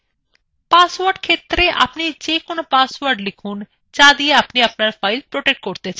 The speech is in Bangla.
পাসওয়ার্ড ক্ষেত্রএ আপনি যে কোন পাসওয়ার্ড লিখুন যা দিয়ে আপনি আপনার file protect করতে চান